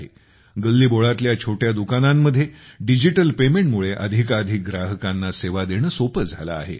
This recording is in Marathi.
गल्लीबोळातल्या छोट्या दुकानांमध्ये डिजिटल पेमेंटमुळे अधिकाधिक ग्राहकांना सेवा देणे सोपे झाले आहे